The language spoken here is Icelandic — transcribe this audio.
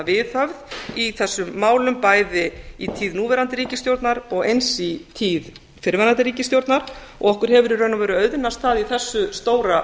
viðhöfð í þessum málum bæði í tíð núverandi ríkisstjórnar og eins í tíð fyrrverandi ríkisstjórnar og að okkur hefur í raun og veru auðnast það í þessu stóra